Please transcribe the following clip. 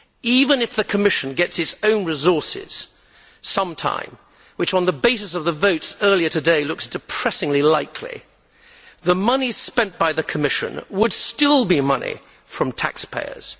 Even if the Commission gets its own resources some time, which, on the basis of the votes earlier today, looks depressingly likely, the money spent by the Commission would still be money from taxpayers.